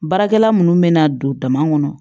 Baarakɛla minnu bɛ na don dama kɔnɔ